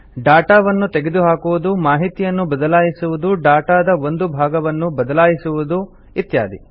ಡಾಟಾವನ್ನು ತೆಗೆಹಾಕುವುದು ಮಾಹಿತಿಯನ್ನು ಬದಲಾಯಿಸುವುದು ಡಾಟಾದ ಒಂದು ಭಾಗವನ್ನು ಬದಲಾಯಿಸುವುದು ಇತ್ಯಾದಿ